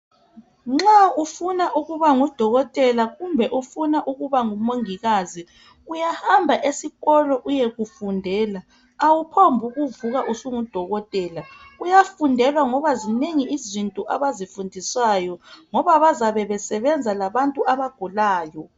Nxa ufuna ukuba ngudokotela kumbe ufuna ukuba ngumongikazi Uyahamba esikolo uyekufundela .Awuphombukuvuka usungudokotela .Kuyafundelwa ngoba zinengi izinto abazifundiswayo ngoba bazabe besebenza labantu abagulayo .